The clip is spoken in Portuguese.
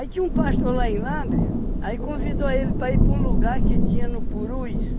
tinha um pastor lá em Lábrea, aí convidou ele para ir para um lugar que tinha no Purus.